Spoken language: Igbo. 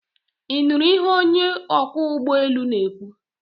Ị nụrụ ihe onye ọkwọ ụgbọelu na-ekwu?